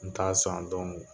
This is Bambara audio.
N t'a sɔn